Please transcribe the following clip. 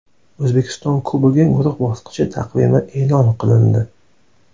O‘zbekiston Kubogi guruh bosqichi taqvimi e’lon qilindi !